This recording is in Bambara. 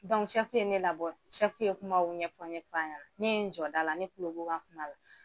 ye ne labɔ , ye kumaw ɲɛfɔ ɲɛfɔ an ɲɛna. Ne ye n jɔ da la , ne kulo b'u ka kuma la.